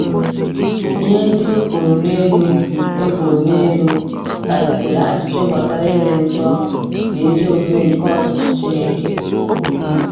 Ihe ndị e kwuru n’elu e kwuru n’elu kpalitere ajụjụ gbasara ịdị nsọ na ezi omume nke ọchịchị Chineke.